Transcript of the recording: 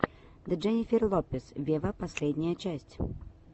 дженнифер лопес вево последняя часть